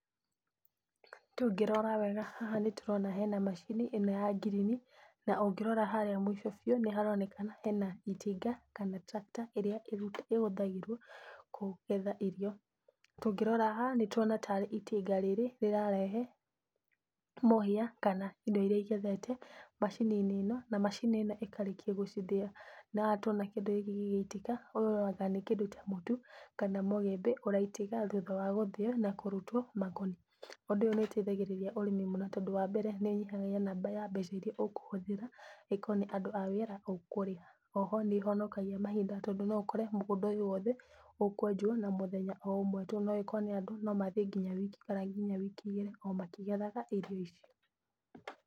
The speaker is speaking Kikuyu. Tũngĩrora wega haha nĩ tũrona hena macini ĩno ya ngirini, na ũngirora harĩa mũico biũ nĩ haronekana hena itinga kana tractor ĩrĩa ĩhũthagĩrwo kũgetha irio. Tũngĩrora haha nĩ tũrona tarĩ itinga rĩrĩ rĩrarehe mũhia kana indo iria igethetwo macini-inĩ ĩno, na macini ĩkarĩkia gũcithĩa. Na haha tuona kĩndũ gĩkĩ gĩgĩitika ũrona ati nĩ kĩndũ ta mũtu, kana mũgĩmbĩ ũraitĩka thutha wa gũthĩo na kũrutwo makoni. Ũndũ ũyũ nĩ ũteithagĩrĩria ũrĩmi mũno, tondũ wa mbere nĩ ũnyihagia namba ya mbeca iria ũkũhũthira okorwo nĩ aruti a wĩra ũkũrĩha. O ho nĩ ĩhonokagia mahinda, tondũ no ũkore mũgũnda ũyũ wothe ũkwenjwo na mũthenya o ũmwe tu, no okorwo nĩ andũ no mathiĩ nginya wiki kana nginya wiki igĩrĩ o makĩgethaga irio ici.